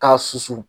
K'a susu